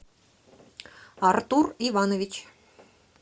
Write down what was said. артур иванович